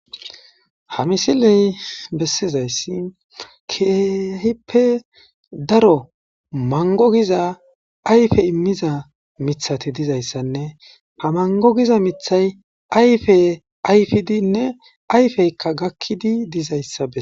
ha misiley bessizayssi keehippe daro mango giza ayfe immiza mithati dizayssanne ha mango giza mithay ayfe ayfidinne ayfeykka gakkidi dizayssabe